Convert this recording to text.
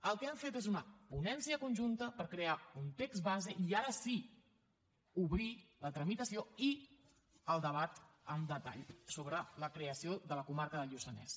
el que hem fet és una ponència conjunta per crear un text base i ara sí obrir la tramitació i el debat amb detall sobre la creació de la comarca del lluçanès